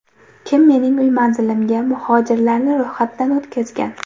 Kim mening uy manzilimga muhojirlarni ro‘yxatdan o‘tkazgan?